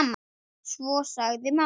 Svo sagði mamma